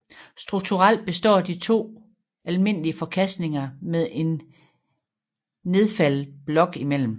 Strukturelt består de af to almindelige forkastninger med en nedfaldet blok imellem